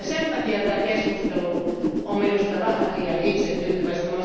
Sen takia tämä keskustelu on minusta vähän liian itsetyytyväistä.